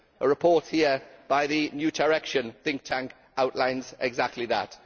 A report here by the New Direction think tank outlines exactly that.